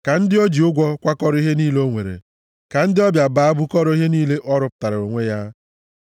Ka ndị o ji ụgwọ kwakọrọ ihe niile o nwere, ka ndị ọbịa baa bukọrọ ihe niile ọ rụpụtaara onwe ya.